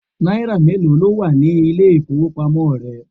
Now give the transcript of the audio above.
Náírà mélòó ló wà ní àpò ile-ifowopamo rẹ?